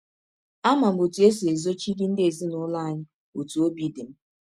Ama m ọtụ esi ezọchiri ndị ezinụlọ anyị ọtụ ọbi dị m.